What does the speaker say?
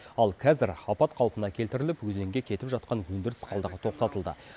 ал қазір апат қалпына келтіріліп өзенге кетіп жатқан өндіріс қалдығы тоқтатылды